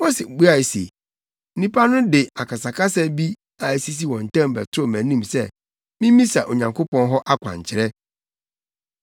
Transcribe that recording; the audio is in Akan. Mose buae se, “Nnipa no de akasakasa bi a asisi wɔn ntam bɛtoo mʼanim sɛ mimmisa Onyankopɔn hɔ akwankyerɛ.